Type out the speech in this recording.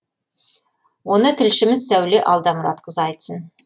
оны тілшіміз сәуле алдамұратқызы айтсын